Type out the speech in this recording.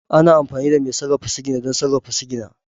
Ana amfani da mai sarrafa sigina don sarrafa sigina